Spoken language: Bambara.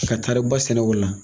Ki ka taari ba sɛnɛ o la.